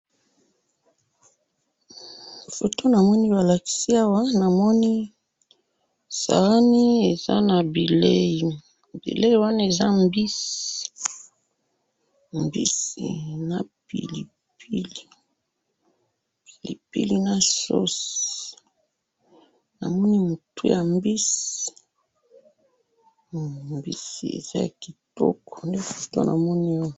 photo namoni balakisi awa eza bileyi namoni eza mbisi napilipili na sosi namoni mutu yambisi ezakitoko penza